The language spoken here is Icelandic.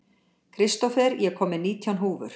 Kristófer, ég kom með nítján húfur!